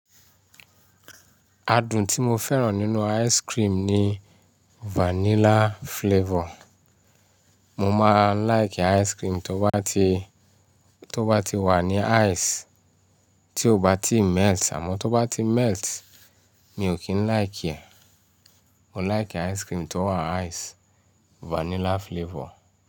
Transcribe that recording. Adùn tí mo fẹ́ràn nínú ice cream ni vanilla flavor. Mo máa ń like ice cream tó bá ti wà ní ice, tí ó bá ti melt. Àmọ́ tó bá ti melt, mi ò kín like ẹ. Mo like ice cream tó wà ice, vanilla flavor.